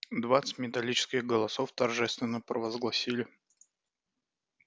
двадцать металлических голосов торжественно провозгласили